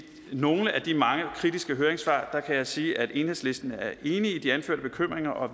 nogle af de mange kritiske høringssvar kan jeg sige at enhedslisten er enig i de anførte bekymringer og